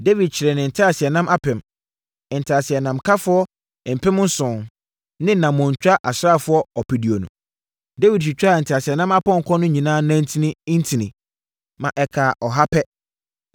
Dawid kyeree ne nteaseɛnam apem, nteaseɛnamkafoɔ mpem nson ne nammɔntwa asraafoɔ ɔpeduonu. Dawid twitwaa nteaseɛnam apɔnkɔ no nyinaa nantin ntini, ma ɛkaa ɔha pɛ.